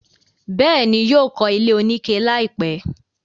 bẹ́ẹ̀ni, yóò kọ́ ilé oníke láìpẹ́.